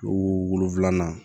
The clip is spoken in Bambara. O wolonfila